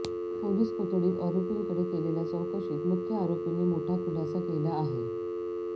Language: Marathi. पोलीस कोठडीत आरोपींकडे केलेल्या चौकशीत मुख्य आरोपीने मोठा खुलासा केला आहे